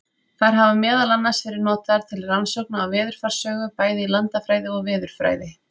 Þær hafa meðal annars verið notaðar til rannsókna á veðurfarssögu, bæði í landafræði og veðurfræði.